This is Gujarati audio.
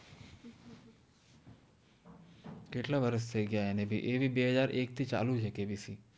કેત્લા વરસ થૈ ગયા એને ભિ એ ભી બે હજાએ એક ચાલુ છે કેબિસિ